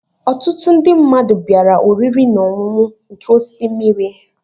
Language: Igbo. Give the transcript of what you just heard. Ọtụtụ ndị mmadụ bịara oriri na ọṅụṅụ nke osimiri.